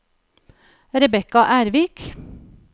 Rebecca Ervik